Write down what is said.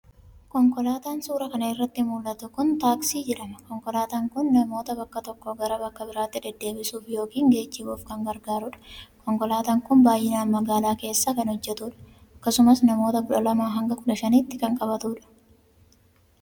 Konkolaataan suura kana irratti mul'atu kun xaksii jedhama. Konkolaatan kun namoota bakka tokkoo gara bakka biraatti deddeebisuuf yookiin gejjibuuf kan gargaarudha. Konkolaataan kun baay'inaan magaalaa keessa kan hojjetudha. Akkasumas namoota kudha lamaa hanga kudha shaniitti kan qabatudha.